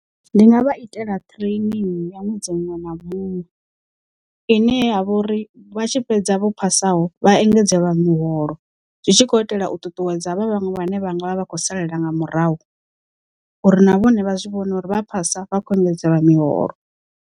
Ndi nga vha itela training ya ṅwedzi muṅwe na muṅwe, ine ya vha uri vha tshi fhedza vho phasaho vha engedzelwa miholo zwi tshi khou itela u ṱuṱuwedza havha vhaṅwe vhane vhanga vha vha khou salela nga murahu uri na vhone vha zwi vhone uri vha phasa vha khou engedzelwa miholo.